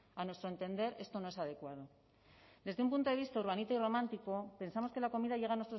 a nuestro entender esto no es adecuado desde un punto de vista urbanita y romántico pensamos que la comida llega